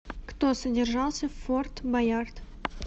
кто содержался в форт боярд